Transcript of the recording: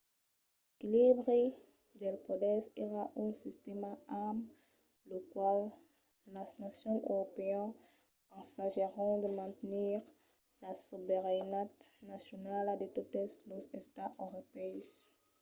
l'equilibri dels poders èra un sistèma amb lo qual las nacions europèas ensagèron de mantenir la sobeiranetat nacionala de totes los estats europèus